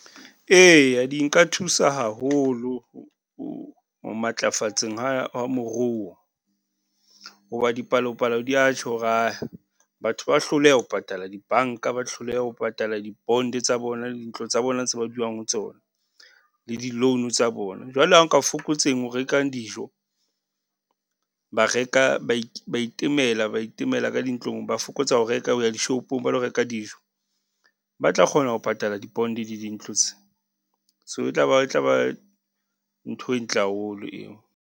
Eya di nka thusa haholo , ho matlafatseng ha, ha moruo. Ho ba dipalopalo di ya tjho hore , batho ba hloleha ho patala dibanka, ba hloleha ho patala di-bond tsa bona, dintlo tsa bona tse ba dulang ho tsona, le di-loan tsa bona. Jwale ha nka fokotseng ho reka dijo, ba reka ba , ba itemela, ba itemela ka dintlong, ba fokotsa ho reka ho ya dishopong ba lo reka dijo, ba tla kgona ho patala di-bond le dintlo tse. So e tla ba, e tla ba ntho e ntle haholo eo.